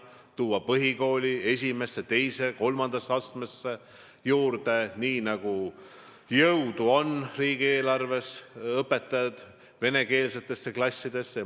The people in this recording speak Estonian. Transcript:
Tuleks tuua põhikooli esimeses, teises ja kolmandas astmes venekeelsetesse klassidesse õpetajaid juurde, nii palju kui riigieelarves jõudu on.